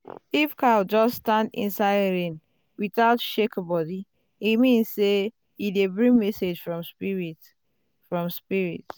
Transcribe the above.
if cow just stand inside rain without shake body e mean say e dey bring message from spirit. spirit.